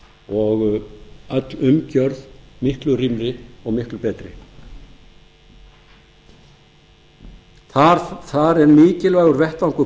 og öll umgjörð miklu rýmri og miklu betri þar er mikilvægur vettvangur